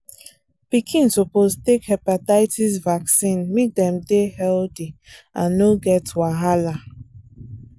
pikin suppose take hepatitis vaccine make dem dey healthy and no get wahala.